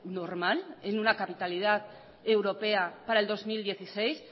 normal en una capitalidad europea para el dos mil dieciséis